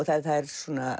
það er